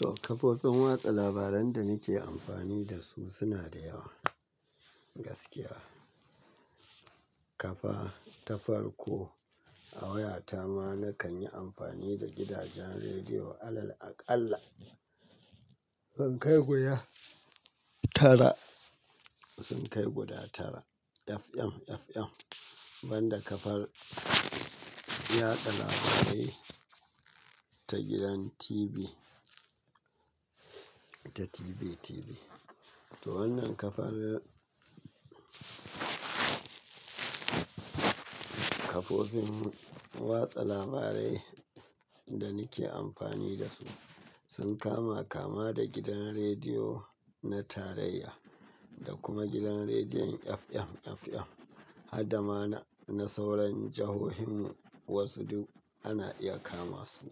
To kafofin watsa labaran da nike amfani da su suna da yawa. Gaskiya. Kafa, ta farko a wayata ma nakan yi amfani da gidajen rediyo alal aqala. Sun kai guda tara, sun kai guda tara. FM FM, banda kafar yaɗa labarai ta gidan TV, ta TV TV. To wannan kafar, kafofin watsa labarai da nike amfani da su sun kama kama da gidan rediyo na tarayya da kuma gidan rediyon FM FM. Hadda ma na, na sauran jihohinmu wasu duk ana iya kama su.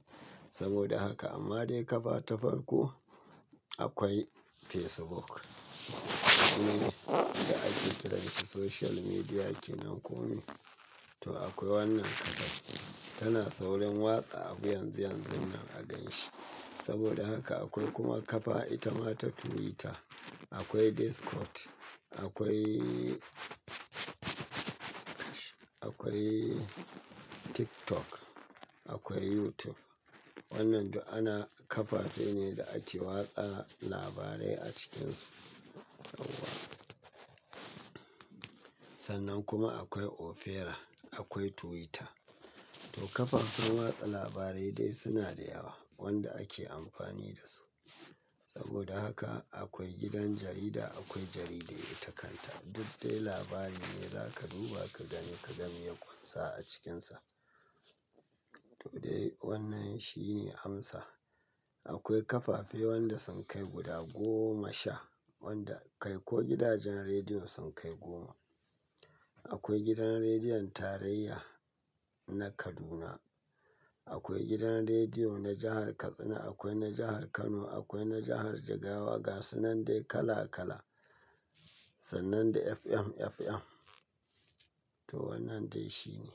Saboda haka amma dai kafa ta farko akwai Facebook wanda ake kiransa social media kenan kome. To akwai wannan kafar tana saurin watsa abu yanzu yanzun nan a ganshi. Saboda haka akwai kuma kafa ita ma ta Twitter. Akwai Discord. Akwai, akwai TikTok. Akwai YouTube. Wannan duk ana, kafafe ne da ake watsa labarai a cikinsu. Sannan kuma akwai Opera. Akwai Twitter. To kafafen watsa labarai dai suna da yawa wanda ake amfani da su. Saboda haka akwai gidan jarida, akwai jaridu ita kanta. Duk dai labari ne zaka duba ka gani ka ga mai ya ƙunsa a cikinsa. To dai wannan shi ne amsa. Akwai kafafe wanda sun kai guda goma sha, wanda kai ko gidajen rediyon sun kai goma. Akwai gidan rediyon tarayya na Kaduna. Akwai gidan rediyo na jahar Katsina. Akwai na jahar Kano. Akwai na jahar Jigawa. Gasunnan dai kala kala. Sannan da FM FM. To wannan dai shi ne.